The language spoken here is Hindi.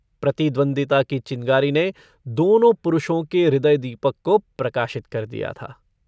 प्रतिद्वन्दिता की चिनगारी ने दोनों पुरुषों के हृदयदीपक को प्रकाशित कर दिया था।